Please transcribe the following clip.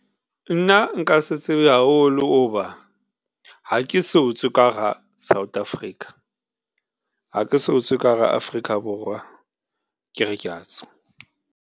Nna nka se tsebe haholo hoba ha ke so tswe ka hara South Africa, ha ke so tswe ka hara Afrika Borwa ke re kea tswa.